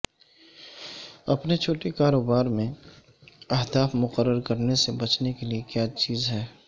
اپنے چھوٹے کاروبار میں اہداف مقرر کرنے سے بچنے کے لئے کیا چیز ہے